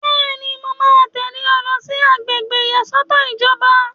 Bẹ́ẹ̀ni, mo máa tẹ̀lé ọ lọ sí àgbègbè ìyàsọ́tọ̀ ìjọba